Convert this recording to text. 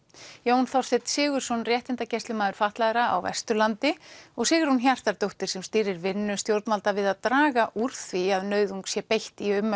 Jón Þorsteinn Sigurðsson réttindagæslumaður fatlaðra á Vesturlandi og Sigrún Hjartardóttir sem stýrir vinnu stjórnvalda við að draga úr því að nauðung sé beitt í